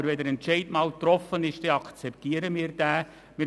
Aber wenn der Entscheid einmal gefällt worden ist, akzeptieren wir ihn.